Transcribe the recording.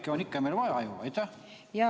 Kirjanikke on meil ju ikka vaja.